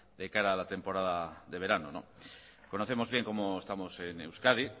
de cara a la temporada de verano conocemos bien cómo estamos en euskadi